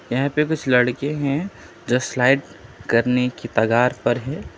यहां पे कुछ लड़के हैं जस्ट लाइक करने की कागार पर हैं।